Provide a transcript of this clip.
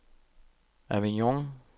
Avignon